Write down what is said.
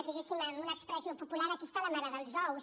diguéssim amb una expressió popular aquí està la mare dels ous